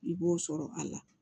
I b'o sɔrɔ a la